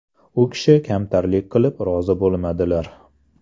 U kishi kamtarinlik qilib rozi bo‘lmadilar.